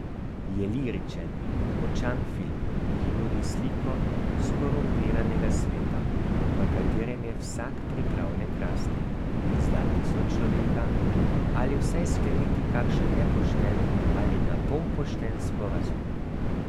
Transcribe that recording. Je liričen in močan film, ki nudi sliko skorumpiranega sveta, v katerem je vsak pripravljen krasti, izdati sočloveka ali vsaj skleniti kakšen nepošten ali na pol pošten sporazum.